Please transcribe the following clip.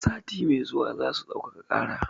Sati mai zuwa zasu ɗaukaka ƙara.